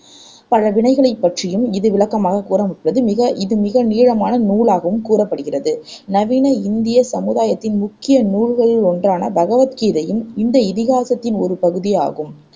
பழவினைகள் பற்றியும் இது விளக்க கூறாவிருப்பது மிக இது மிக நீளமான நூலாகவும் கூறப்படுகிறது நவீன இந்திய சமுதாயத்தின் முக்கிய நூல்களிலொன்றான பகவத் கீதையும் இந்த இதிகாசத்தின் ஒரு பகுதி ஆகும்